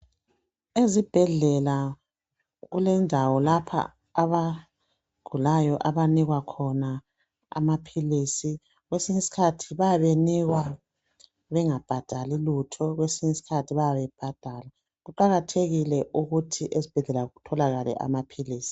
Ezibhedlela kulendawo lapha abagulayo abanikwa khona amaphilisi. Kwesinye isikhathi bayabe benikwa bengabhadali lutho kwesinye isikhathi bayabe bebhadala. Kuqakathekile ukuthi esibhedlela kutholakale amaphilisi.